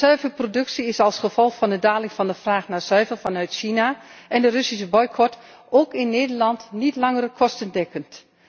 De zuivelproductie is als gevolg van de daling van de vraag naar zuivel vanuit China en de Russische boycot ook in Nederland niet langer kostendekkend.